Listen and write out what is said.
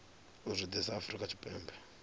u zwi ḓisa afrika tshipembe